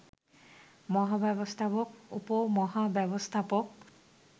মহাব্যবস্থাপক, উপমহাব্যবস্থাপক